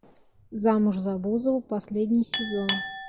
замуж за бузову последний сезон